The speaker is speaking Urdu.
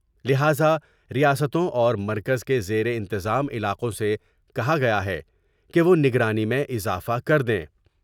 لہذار یاستوں اور مرکز کے زیرانتظام علاقوں سے کہا گیا ہے کہ وہ نگرانی میں اضافہ کر دیں ۔